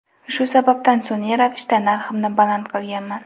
Shu sababdan sun’iy ravishda narximni baland qilganman.